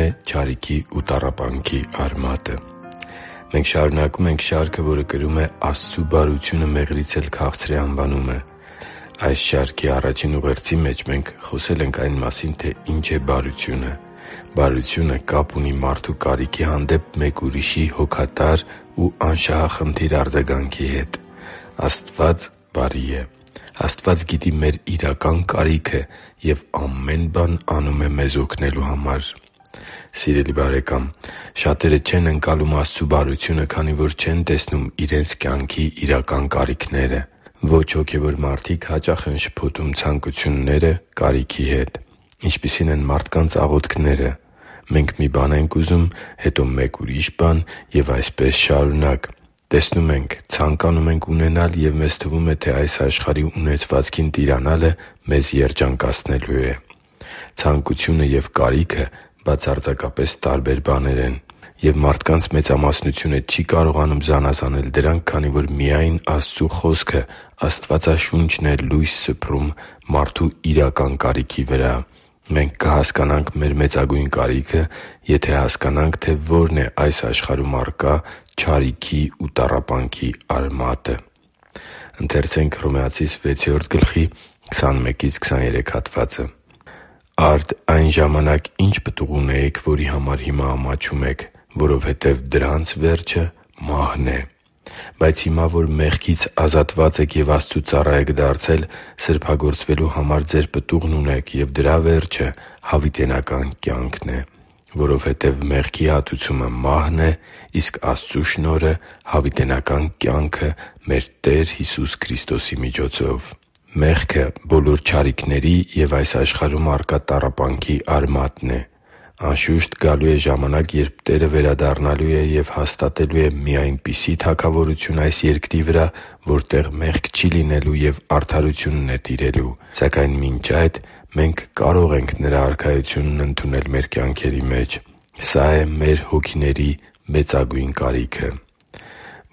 է չարիքի ու տառապանքի արմատը Մենք շարունակում ենք շարքը, որը կրում է «Աստծու բարությունը մեղրից էլ քաղցր է» անվանումը։ Այս շարքի առաջին ուղերձի մեջ մենք խոսել ենք այն մասին, թե ինչ է բարությունը։ Բարությունը կապ ունի մարդու կարիքի հանդեպ մեկ ուրիշի հոգատար ու անշահախնդիր արձագանքի հետ։ Աստված բարի է։ Աստված գիտի մեր իրական կարիքը և ամեն բան անում է մեզ օգնելու համար։ Սիրելի՛ բարեկամ, շատերը չեն ընկալում Աստծու բարությունը, քանի որ չեն տեսնում իրենց կյանքի իրական կարիքները։ Ոչ հոգևոր մարդիկ հաճախ են շփոթում ցանկությունները կարիքի հետ։ Ինչպիսի՞ն են մարդկանց աղոթքները։ Մենք մի բան ենք ուզում, հետո մեկ ուրիշ բան և այդպես շարունակ։ Տեսնում ենք, ցանկանում ենք ունենալ, և մեզ թվում է, թե այս աշխարհի ունեցվածքին տիրանալը մեզ երջանկացնելու է։ Ցանկությունը և կարիքը բացարձակապես տարբեր բաներ են։ Եվ մարդկանց մեծամասնությունը չի կարողանում զանազանել դրանք, քանի որ միայն Աստծու Խոսքը՝ Աստվածաշունչն է լույս սփռում մարդու իրական կարիքի վրա։ Մենք կհասկանանք մեր մեծագույն կարիքը, եթե հասկանանք, թե ո՛րն է այս աշխարհում առկա չարիքի ու տառապանքի արմատը։ «Արդ այն ժամանակ ի՞նչ պտուղ ունեիք, որի համար հիմա ամաչում եք, որովհետև դրանց վերջը մահն է։ Բայց հիմա, որ մեղքից ազատված եք և Աստծու ծառա եք դարձել, սրբագործվելու համար ձեր պտուղն ունեք, և դրա վերջը հավիտենական կյանքն է։ Որովհետև մեղքի հատուցումը մահն է, իսկ Աստծու շնորհը՝ հավիտենական կյանքը մեր Տեր Հիսուս Քրիստոսի միջոցով» (Հռոմեացիս 6․21-23): Մեղքը բոլոր չարիքների և այս աշխարհում առկա տառապանքի արմատն է։ Անշուշտ, գալու է ժամանակ, երբ Տերը վերադառնալու է և հաստատելու է մի այնպիսի թագավորություն այս երկրի վրա, որտեղ մեղք չի լինելու և արդարությունն է տիրելու։ Սակայն մինչև այդ մենք կարող ենք Նրա Արքայությունն ընդունել մեր կյանքերի մեջ։ Սա է մեր հոգիների մեծագույն կարիքը։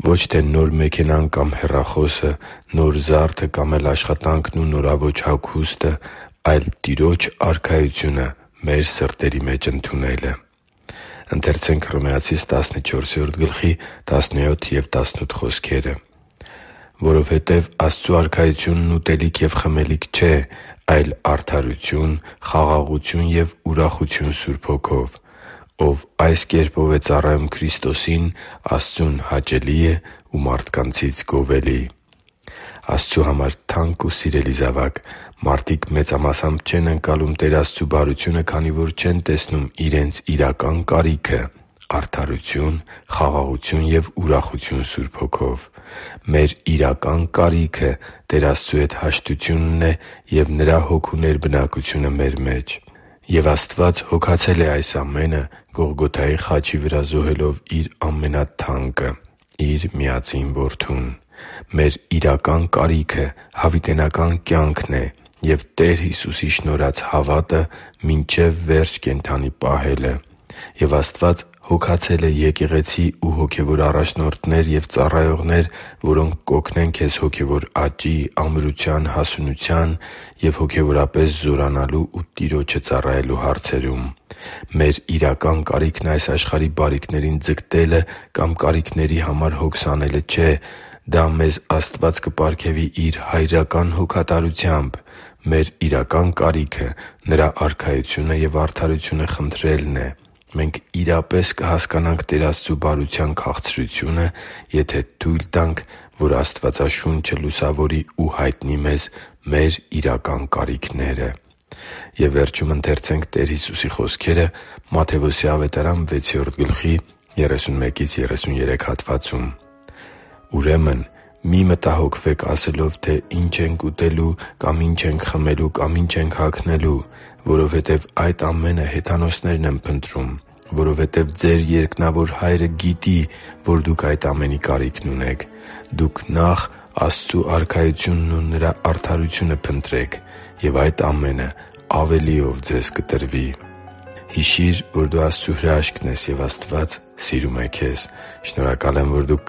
Ոչ թե նոր մեքենան կամ հեռախոսը, նոր զարդը կամ էլ աշխատանքն ու նորաոճ հագուստը, այլ՝ Տիրոջ Արքայությունը մեր սրտերի մեջ ընդունելը։ «Որովհետև Աստծու արքայությունն ուտելիք և խմելիք չէ, այլ արդարություն, խաղաղություն և ուրախություն Սուրբ Հոգով։ Ով այս կերպով է ծառայում Քրիստոսին, Աստծուն հաճելի է ու մարդկանց՝ գովելի» (Հռոմեացիս 14․17-18): Աստծու համար թանկ ու սիրելի՛ զավակ, մարդիկ մեծամասամբ չեն ընկալում Տեր Աստծու բարությունը, քանի որ չեն տեսնում իրենց իրական կարիքը՝ արդարություն, խաղաղություն և ուրախություն Սուրբ Հոգով։ Մեր իրական կարիքը Տեր Աստծու հետ հաշտությունն է և Նրա Հոգու ներբնակությունը մեր մեջ։ Եվ Աստված հոգացել է այս ամենը՝ Գողգոթայի խաչի վրա զոհելով Իր ամենաթանկը՝ Իր Միածին Որդուն։ Մեր իրական կարիքը հավիտենական կյանքն է և Տեր Հիսուսի շնորհած հավատքը մինչև վերջ կենդանի պահելը։ Եվ Աստված հոգացել է եկեղեցի և հոգևոր առաջնորդներ ու ծառայողներ, որոնք կօգնեն քեզ հոգևոր աճի, ամրության, հասունության և հոգևորապես զորանալու ու Տիրոջը ծառայելու հարցերում։ Մեր իրական կարիքն այս աշխարհի բարիքներին ձգտելը կամ կարիքների համար հոգս անելը չէ։ Դա մեզ Աստված կպարգևի Իր հայրական հոգատարությամբ։ Մեր իրական կարիքը Նրա Արքայությունը և արդարությունը խնդրելն է։ Մենք իրապես կհասկանանք Տեր Աստծու բարության քաղցրությունը, եթե թույլ տանք, որ Աստվածաշունչը լուսավորի ու հայտնի մեզ մեր իրական կարիքները։ «Ուրեմն մի՛ մտահոգվեք ասելով՝ ի՛նչ ենք ուտելու կամ ի՛նչ ենք խմելու կամ ի՛նչ ենք հագնելու, որովհետև այդ ամենը հեթանոսներն են փնտրում. որովհետև ձեր երկնավոր Հայրը գիտի, որ դուք այդ ամենի կարիքն ունեք։ Դուք նախ Աստծու արքայությունն ու Նրա արդարությո՛ւնը փնտրեք, և այդ ամենը ավելիով ձեզ կտրվի» (Մատթեոս 6․31-33): Հիշի՛ր, որ դու Աստծո հրաշքն ես, և Աստված սիրում է քեզ։ Շնորհակալ եմ, որ դու